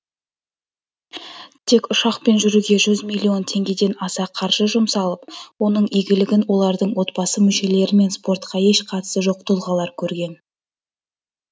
тек ұшақпен жүруге жүз миллион теңгеден аса қаржы жұмсалып оның игілігін олардың отбасы мүшелері мен спортқа еш қатысы жоқ тұлғалар көрген